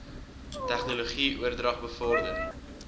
tegnologie oordrag bevorder